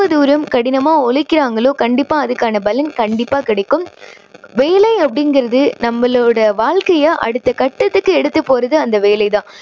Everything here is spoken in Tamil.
தூரம் கடினமா உழைக்கிறாங்களோ கண்டிப்பா அதுக்கான பலன் கண்டிப்பா கிடைக்கும். வேலை அப்படிங்கறது நம்மளோட வாழக்கையோட அடுத்த கட்டத்துக்கு எடுத்து போறது அந்த வேலை தான்.